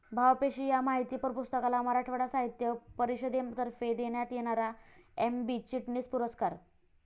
भावपेशी' या माहितीपर पुस्तकाला मराठवाडा साहित्य परिषदेतर्फे देण्यात येणारा एम.बी. चिटणीस पुरस्कार